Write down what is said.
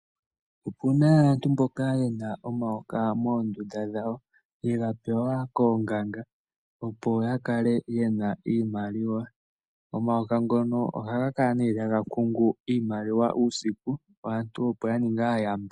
Opuna aantu mboka yena omayoka moondunda dhawo yega pewa koonganga opo ya kale yena iimaliwa. Omayoka ngono ohaga kala ne taga kungu iimaliwa uusiku, aantu opo ya ninge aayamba.